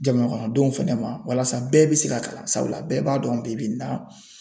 Jamanakɔnɔdenw fɛnɛ ma walasa bɛɛ bɛ se ka kalan sabula bɛɛ b'a dɔn bibi in na.